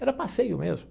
Era passeio mesmo.